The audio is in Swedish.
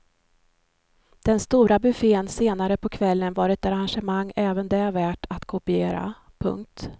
Den stora buffeten senare på kvällen var ett arrangemang även det värt att kopiera. punkt